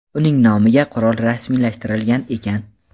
uning nomiga qurol rasmiylashtirilgan ekan.